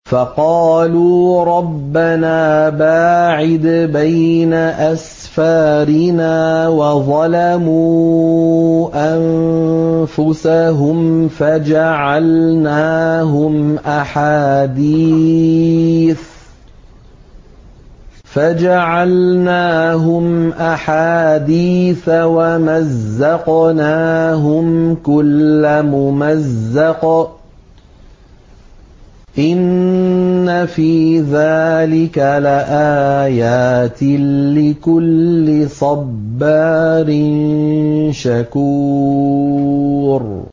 فَقَالُوا رَبَّنَا بَاعِدْ بَيْنَ أَسْفَارِنَا وَظَلَمُوا أَنفُسَهُمْ فَجَعَلْنَاهُمْ أَحَادِيثَ وَمَزَّقْنَاهُمْ كُلَّ مُمَزَّقٍ ۚ إِنَّ فِي ذَٰلِكَ لَآيَاتٍ لِّكُلِّ صَبَّارٍ شَكُورٍ